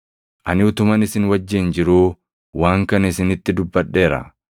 “Ani utuman isin wajjin jiruu waan kana isinitti dubbadheera.